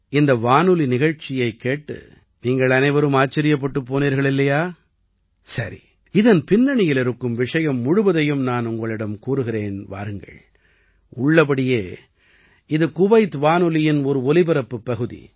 இந்த வானொலி நிகழ்ச்சியைக் கேட்டு நீங்கள் அனைவரும் ஆச்சரியப்பட்டுப் போனீர்கள் இல்லையா சரி இதன் பின்னணியில் இருக்கும் விஷயம் முழுவதையும் நான் உங்களிடம் கூறுகிறேன் வாருங்கள் உள்ளபடியே இது குவைத் வானொலியின் ஒரு ஒலிபரப்புப் பகுதி